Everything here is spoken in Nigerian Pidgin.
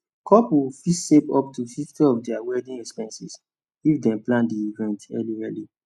couples fit save up to 50 of their wedding expenses if dem plan the event early early